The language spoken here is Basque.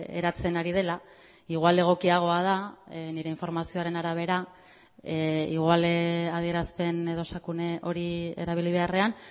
eratzen ari dela igual egokiagoa da nire informazioaren arabera igual adierazpen edo esakune hori erabili beharrean